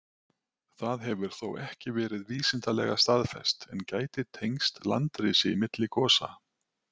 Það hefur þó ekki verið vísindalega staðfest, en gæti tengst landrisi milli gosa.